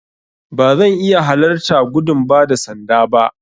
Ba zan iya halarta gudun ba da sanda ba.